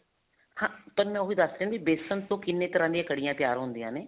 ਹਾਂ ਤੁਹਾਨੂੰ ਮੈਂ ਉਹੀ ਦੱਸ ਰਹੀ ਹਾਂ ਵੀ ਵੇਸਣ ਤੋਂ ਕਿੰਨੇ ਤਰ੍ਹਾਂ ਦੀਆਂ ਕੜੀਆਂ ਤਿਆਰ ਹੁੰਦੀਆ ਨੇ